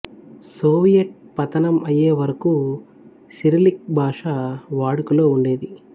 Soviet పతనం అయ్యే వరకు సిరిలిక్ భాష వాడుకలో ఉండేది